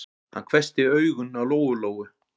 Hann hvessti augun á Lóu-Lóu.